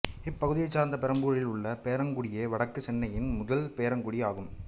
இப்பகுதியைச் சார்ந்த பெரம்பூரில் உள்ள பேரங்காடியே வடக்கு சென்னையின் முதல் பேரங்காடி ஆகும்